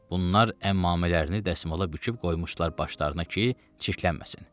Bunlar əmmamələrini dəsmala büküb qoymuşdular başlarına ki, çirklənməsin.